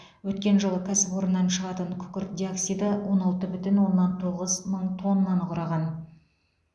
өткен жылы кәсіпорыннан шығатын күкірт диоксиді он алты бүтін оннан тоғыз мың тоннаны құраған